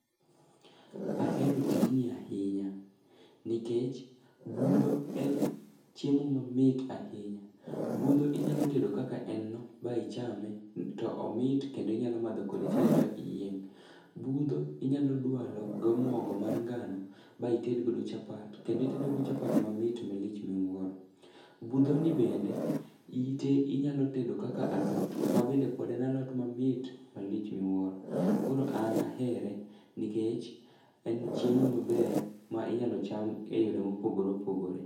Ahero tijni ahinya, nikech budho en chiemo mamit ahinya. Budho inyalo tedo kaka en no to ichame, to omit kendo inyalo madho kode chaye ba iyieng'.Budho inyalo dwalo go mogo mar ngano ba ited godo chapat, kendo itedogo chapat mamit malich miwuoro. Budhoni bnede, ite inyalo tedo kaka alot, mabende pod en alot mamit malich miwuoro. Koro an ahere nikech en chiemo mamit ma inyalo cham e yore mopogore opogore.